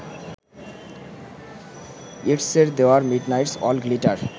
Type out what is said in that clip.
ইয়েটসের there midnight's all glitter